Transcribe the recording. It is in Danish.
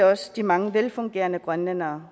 også de mange velfungerende grønlændere